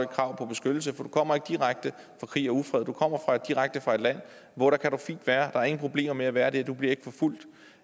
krav på beskyttelse for du kommer ikke direkte fra krig og ufred du kommer direkte fra et land hvor du fint kan være der er ingen problemer med at være der du bliver ikke forfulgt og